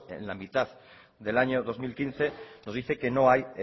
en la mitad del año dos mil quince nos dice que no hay